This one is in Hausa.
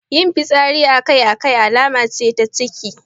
Yin fitsari akai-akai alama ce ta ciki.